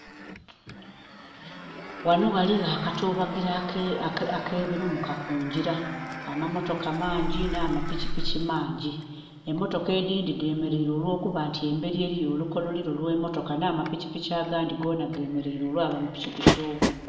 Ghanho ghaligho akatubagiro akebirumuka kungira. Amamotoka mangi n'amapikipiki mangi. Emotoka edhindhi dhemeleire olw'okuba nti emberi eriyo olukololiro olw'emotoka nha mapikipiki agandhi gonha gemeleire olw'amapikipiki obungi.